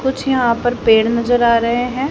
कुछ यहां पर पेड़ नजर आ रहे हैं।